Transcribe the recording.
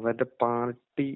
അവരുടെ പാർട്ടി